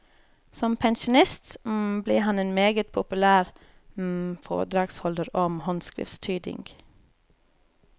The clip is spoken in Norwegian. Som pensjonist ble han en meget populær foredragsholder om håndskriftstyding.